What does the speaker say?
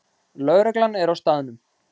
Lögreglan er á staðnum